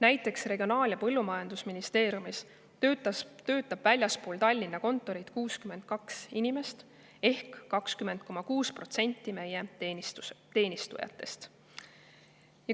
Näiteks Regionaal- ja Põllumajandusministeeriumis töötab väljaspool Tallinna kontorit 62 inimest ehk 20,6% meie teenistujatest.